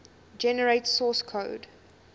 generate source code